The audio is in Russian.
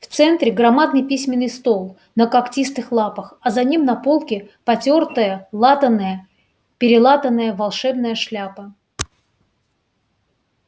в центре громадный письменный стол на когтистых лапах а за ним на полке потёртая латаная-перелатаная волшебная шляпа